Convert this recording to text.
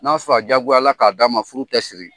N'a fa jagoyala ka d'a ma furu tɛ siri.